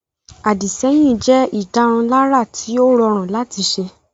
Àdìsẹ́yìn jẹ́ ìdárunlárà tí ó rọrùn láti ṣe